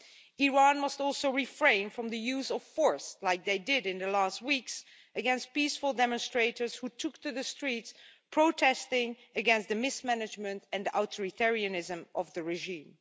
Iran must also refrain from the use of force, as happened during the last weeks, against peaceful demonstrators who took to the streets protesting against the mismanagement and authoritarianism of the regime.